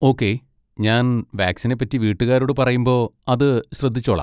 Okay, ഞാൻ വാക്സിനെ പറ്റി വീട്ടുകാരോട് പറയുമ്പോ അത് ശ്രദ്ധിച്ചോളാം.